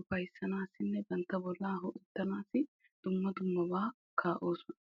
ufyassanawunne bantta bolla minttetanawu kaa'osonna.